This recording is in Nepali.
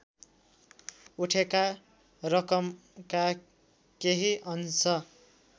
उठेका रकमका केही अंश